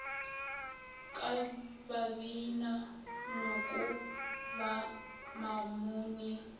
ka babina noko ba mamone